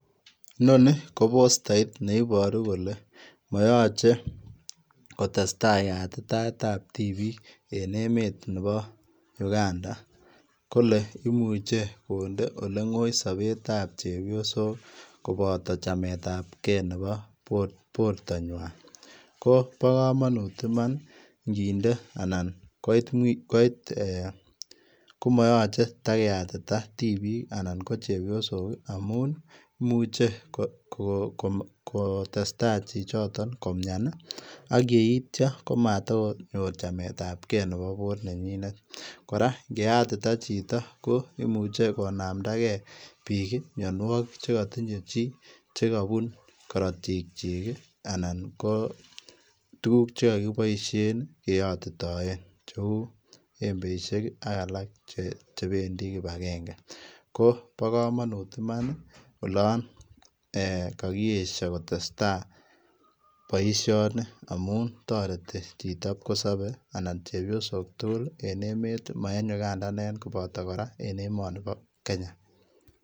Inoni ko postait neibaruu kole mayachei kotesetai yatitaet ab tibiik en emeet nebo []Uganda[] kole imuche konde olengoi sabeet ab chepyosook kobataa chameet ab gei borta nywaany ko bo kamanut imaan ii igininde anan koit eeh ko ma yachei takeeyatitaa tibiik anan ko chepyosook amuun imuche ko testai chichitoon komian ak yeityaa komatakonyooor chemeet ab gei ne bo boruek kwaak kora ingeyatitaa ko imuche konamdai gei mianwagik che katinyei chii chekabuun karotiik kyiik anan ko tuguuk che kakibaisheen keyatitaen che embeisheek ak alaak chebendii kibangengei ko bo kamanut imaan ka kiesha kotestai boisioni amuun taretii chitoo nan pkosapei anan chepyosook tugul en emeet ii ma en Uganda inegen akoot en emanii bo Kenya.